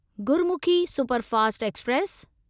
Gurmukhi superfast express